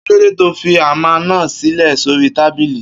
Kilode tọ fí àmá nà sílẹ sòrí tàbílì?